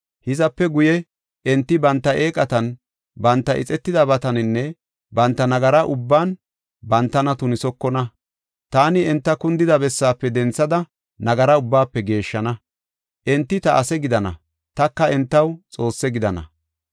Hizape guye, enti banta eeqatan, banta ixetidabataninne banta nagara ubban bantana tunisokona. Taani enta kundida bessaafe denthada nagara ubbaafe geeshshana. Enti ta ase gidana; taka entaw Xoosse gidana.